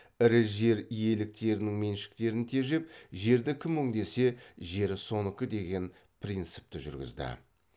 ірі жер иеліктерінің меншіктерін тежеп жерді кім өңдесе жер соныкі деген принципті жүргізді